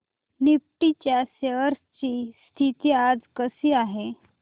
Nifty च्या shares ची स्थिती आज कशी आहे